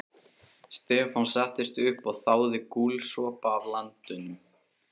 Stefán settist upp og þáði gúlsopa af landanum.